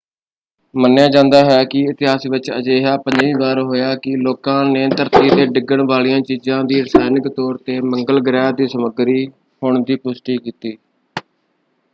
ਮੰਨਿਆ ਜਾਂਦਾ ਹੈ ਕਿ ਇਤਿਹਾਸ ਵਿੱਚ ਅਜਿਹਾ ਪੰਜਵੀਂ ਵਾਰ ਹੋਇਆ ਕਿ ਲੋਕਾਂ ਨੇ ਧਰਤੀ 'ਤੇ ਡਿੱਗਣ ਵਾਲੀਆਂ ਚੀਜਾਂ ਦੀ ਰਸਾਇਣਿਕ ਤੌਰ 'ਤੇ ਮੰਗਲ ਗ੍ਰਹਿ ਦੀ ਸਮੱਗਰੀ ਹੋਣ ਦੀ ਪੁਸ਼ਟੀ ਕੀਤੀ।